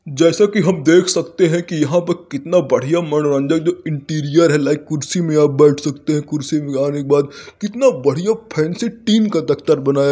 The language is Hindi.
जैसा कि हम देख खकते है कि यहाँ पे कितना बढ़िया मनोरंजक जो इंटीरियर है लाइक कुर्सी में आप बैठ सकते है। कुर्सी में आने के बाद कितना बढ़िया फैंसी टीम का दफ्तर बनाया गया है ये --